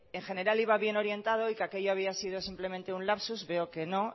en general iba bien orientado y que aquello había sido simplemente un lapsus veo que no